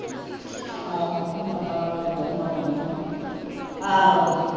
ਆਹੋ ਮੈਂਨੂੰ ਪਤਾ ਵਾ , ਆਹੋ